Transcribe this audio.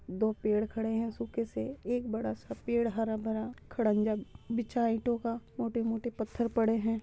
दो पेड़ खड़े हैं सूखे से एक बड़ा सा पेड़ हरा भरा खण्डंजा बिछा है ईंटो का मोटे-मोटे पत्थर पड़े हैं।